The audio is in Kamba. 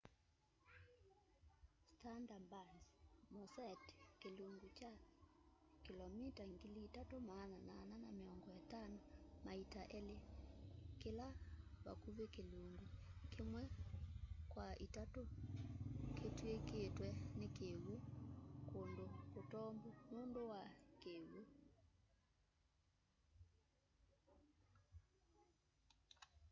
sundarbans mosete kĩlungu kya kĩlomita 3,850 maita elĩ kĩla vakuvĩ kĩlungu kĩmwe kwa itatũ kĩvw'ĩkĩtwe nĩ kĩw'ũ/kũndũ kũtombu nũndũ wa kĩw'ũ